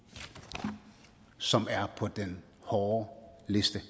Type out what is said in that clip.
men som er på den hårde liste